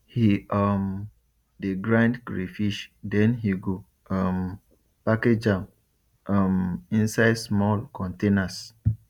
he um de grind crayfish then he go um package am um inside small containers